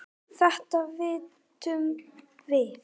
Þetta vitum við.